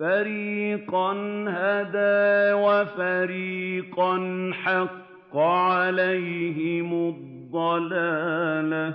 فَرِيقًا هَدَىٰ وَفَرِيقًا حَقَّ عَلَيْهِمُ الضَّلَالَةُ ۗ